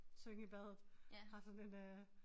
Synge i badet har sådan en øh